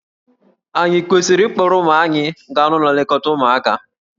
Ànyị kwesịrị ịkpọrọ ụmụ anyị gaa n'ụlọ nlekọta ụmụaka?